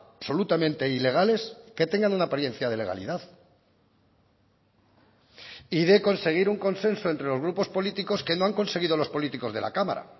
absolutamente ilegales que tengan una apariencia de legalidad y de conseguir un consenso entre los grupos políticos que no han conseguido los políticos de la cámara